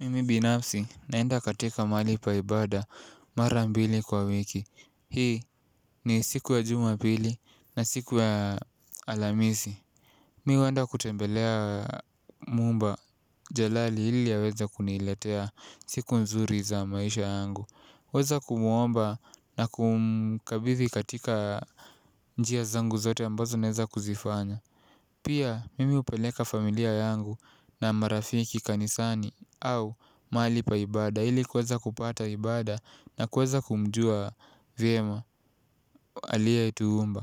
Mimi binafsi naenda katika mahali paibada mara mbili kwa wiki. Hii ni siku ya jumapili na siku ya alhamisi. Mihuenda kutembelea mumba jalali ili aweze kuniletea siku nzuri za maisha yangu. Weza kumuomba na kumkabithi katika njia zangu zote ambazo naweza kuzifanya. Pia mimi hupeleka familia yangu na marafiki kanisani au mahali paibada. Ili kuweza kupata ibada na kuweza kumjua vyema aliyetuumba.